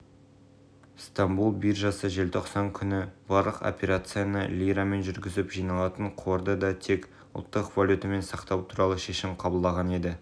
жалпы облыста дуалды білім беру жүйесін енгізу жұмыстары басым мамандық бойынша оқу орнында жүргізілуде студенттер салалық